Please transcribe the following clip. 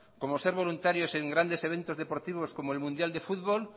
como ser voluntarios en grandes eventos deportivos como el mundial de fútbol